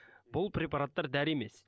бұл препараттар дәрі емес